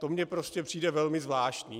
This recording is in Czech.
To mi prostě přijde velmi zvláštní.